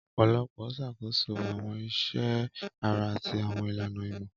Ọpọlọ ń ṣàkóso àwọn iṣẹ́ ara àti àwọn ìlànà ìmọ̀.